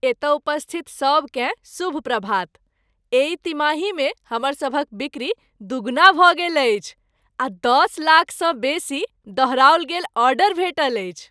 एतय उपस्थित सभकेँ शुभ प्रभात। एहि तिमाहीमे हमर सभक बिक्री दूगुना भऽ गेल अछि आ दस लाखसँ बेसी दोहराओल गेल ऑर्डर भेटल अछि।